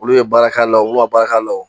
Olu ye baara k'a la wo, u ma baara k'a la.